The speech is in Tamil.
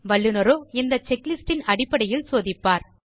வல்லுநரோ இந்தப் செக்லிஸ்ட் ன்அடிப்படையில் சோதிப்பார்